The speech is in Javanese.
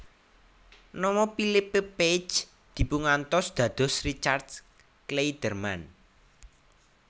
Nama Philippe Pagès dipungantos dados Richard Clayderman